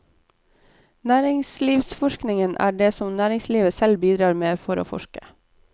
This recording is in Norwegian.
Næringslivsforskningen er det som næringslivet selv bidrar med for å forske.